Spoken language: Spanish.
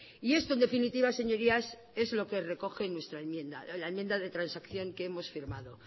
y esto en definitiva señorías es lo que recoge nuestra enmienda la enmienda de transacción que hemos firmado